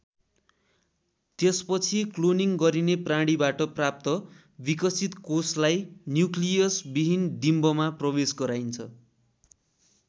त्यसपछि क्लोनिङ गरिने प्राणीबाट प्राप्त विकसित कोषलाई न्युक्लियस विहीन डिम्बमा प्रवेश गराइन्छ।